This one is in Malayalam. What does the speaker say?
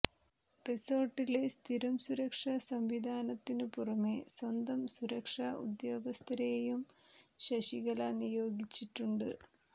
റിസോർട്ടിലെ സ്ഥിരം സുരക്ഷാസംവിധാനത്തിനു പുറമേ സ്വന്തം സുരക്ഷാ ഉദ്യോഗസ്ഥരെയും ശശികല നിയോഗിച്ചിട്ടുണ്ട്